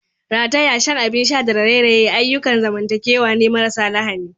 Rataya, shan abin sha da raye-raye ayyukan zamantakewa ne marasa lahani.